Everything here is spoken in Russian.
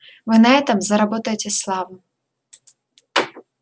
вы на этом заработаете славу